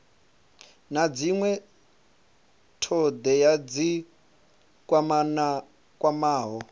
na dzinwe thodea dzi kwamaho